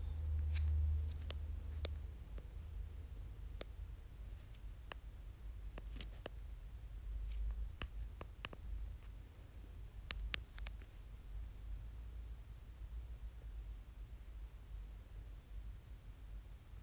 адамның әрбір жеке қасиетінің жиынтығы болатын адамгершілік сенімді сезімді және әдетті қалыптастыру